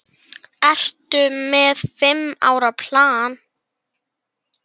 Ertu með fimm ára plan?